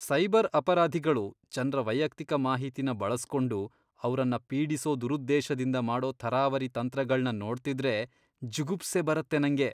Cyber ಅಪರಾಧಿಗಳು ಜನ್ರ ವೈಯಕ್ತಿಕ ಮಾಹಿತಿನ ಬಳಸ್ಕೊಂಡು ಅವ್ರನ್ನ ಪೀಡಿಸೋ ದುರುದ್ದೇಶದಿಂದ ಮಾಡೋ ಥರಾವರಿ ತಂತ್ರಗಳ್ನ ನೋಡ್ತಿದ್ರೆ ಜುಗುಪ್ಸೆ ಬರತ್ತೆ ನಂಗೆ.